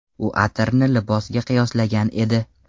U atirni libosga qiyoslagan edi.